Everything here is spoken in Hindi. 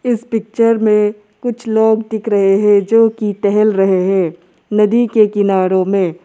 इस पिक्चर में कुछ लोग दिख रहे हैं जो की टहल रहे हैं नदी के किनारो में।